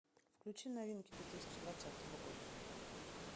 включи новинки две тысячи двадцатого года